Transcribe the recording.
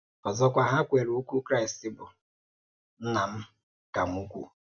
Ọ̀zọ̀kwà, ha kwèèrè òkwú Kraịst bụ́: Nna m ka m ukwú.